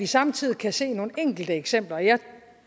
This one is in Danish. samtidig kan se nogle enkelte eksempler jeg